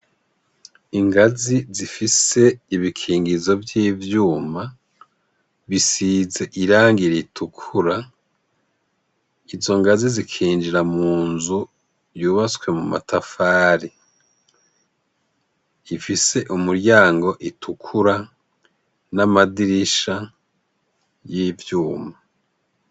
Ingazi zifise ibikingizo vy'ivyuma bisize irangi ritukura. Izo ngazi zikinjira munzu yubatswe mu matafari, ifise imiryango itukura n'amadirisha y'ivyuma.